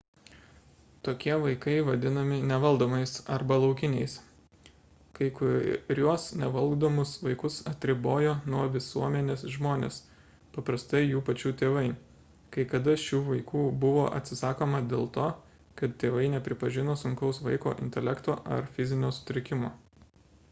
tokie vaikai vadinami nevaldomais arba laukiniais. kai kuriuos nevaldomus vaikus atribojo nuo visuomenės žmonės paprastai jų pačių tėvai; kai kada šių vaikų buvo atsisakoma dėl to kad tėvai nepripažino sunkaus vaiko intelekto ar fizinio sutrikimo